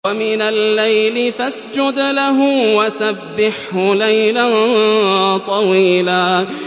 وَمِنَ اللَّيْلِ فَاسْجُدْ لَهُ وَسَبِّحْهُ لَيْلًا طَوِيلًا